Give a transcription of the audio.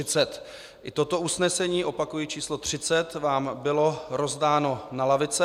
I toto usnesení - opakuji číslo 30 - vám bylo rozdáno na lavice.